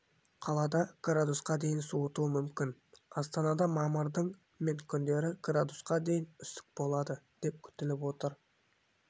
қалада градусқа дейін суытуы мүмкін астанада мамырдың мен күндері градусқа дейін үсік болады деп күтіліп отыр